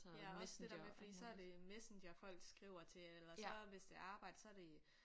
Ja også det der med fordi så er det Messenger folk skriver til eller så hvis det er arbejde så er det